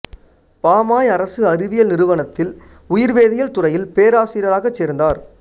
பாமாய் அரசு அறிவியல் நிறுவனத்தில் உயிர்வேதியியல் துறையில் பேராசிரியராகச் சேர்ந்தார